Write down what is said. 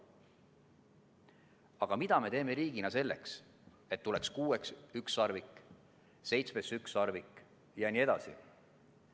Aga mida me teeme riigina selleks, et tuleks kuues ükssarvik, seitsmes ükssarvik jne?